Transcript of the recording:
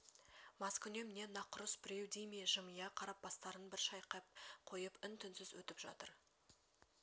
маскүнем не нақұрыс біреу дей ме жымия қарап бастарын бір шайқап қойып үн-түнсіз өтіп жатыр